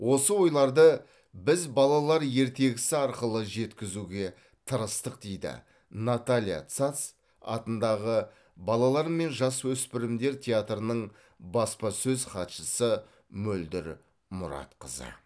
осы ойларды біз балалар ертегісі арқылы жеткізуге тырыстық дейді наталия сац атындағы балалар мен жасөспірімдер театрының баспасөз хатшысы мөлдір мұратқызы